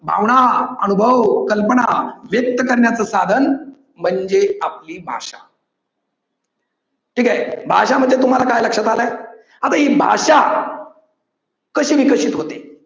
भावना अनुभव कल्पना व्यक्त करण्याचे साधन म्हणजे आपली भाषा. ठीक आहे. भाषा म्हणजे काय तुम्हाला लक्षात आलंय आता ही भाषा कशी विकसित होते